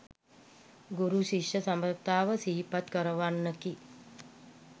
ගුරු, ශිෂ්‍ය සබඳතාව සිහිපත් කරවන්නකි.